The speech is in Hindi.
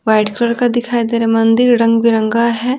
वाइट कलर का दिखाई दे रहा मंदिर रंग बिरंगा है।